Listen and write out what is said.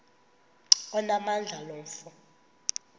onamandla lo mfo